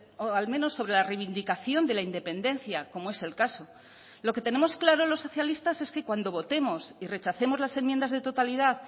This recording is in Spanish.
o al menos sobre la reivindicación de la independencia como es el caso lo que tenemos claro los socialistas es que cuando votemos y rechacemos las enmiendas de totalidad